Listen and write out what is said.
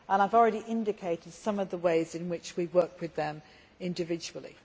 I have already indicated some of the ways in which we work with them individually.